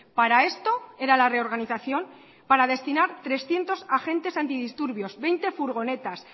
para esto era la reorganización para destinar trescientos agentes antidisturbios veinte furgonetas